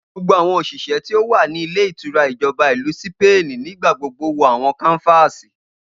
Gbogbo awọn oṣiṣẹ ti o wa ni ilé ìtura Ijọba Ilu Sipeeni nigbagbogbo wọ awọn kánfààsì.